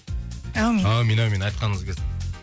әумин әумин әумин айтқаныңыз келсін